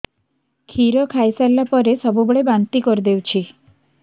କ୍ଷୀର ଖାଇସାରିଲା ପରେ ସବୁବେଳେ ବାନ୍ତି କରିଦେଉଛି